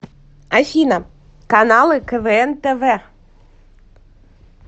афина каналы квн тв